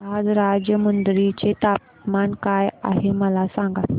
आज राजमुंद्री चे तापमान काय आहे मला सांगा